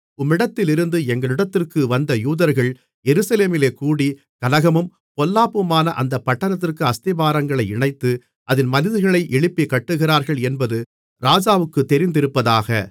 உம்மிடத்திலிருந்து எங்களிடத்திற்கு வந்த யூதர்கள் எருசலேமிலே கூடி கலகமும் பொல்லாப்புமான அந்தப் பட்டணத்திற்கு அஸ்திபாரங்களை இணைத்து அதின் மதில்களை எழுப்பிக்கட்டுகிறார்கள் என்பது ராஜாவுக்குத் தெரிந்திருப்பதாக